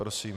Prosím.